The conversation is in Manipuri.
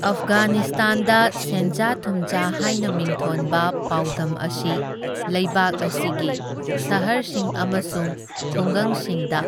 ꯑꯐꯒꯥꯅꯤꯁꯇꯥꯟꯗ ꯁꯦꯟꯖꯥ ꯊꯨꯝꯖꯥ ꯍꯥꯢꯅ ꯃꯤꯡꯊꯣꯟꯕ ꯄꯥꯎꯗꯝ ꯑꯁꯤ ꯂꯩꯕꯥꯛ ꯑꯁꯤꯒꯤ ꯁꯍꯔꯁꯤꯡ ꯑꯃꯁꯨꯡ ꯈꯨꯡꯒꯪꯁꯤꯡꯗ